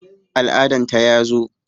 Al'adan ta ya zo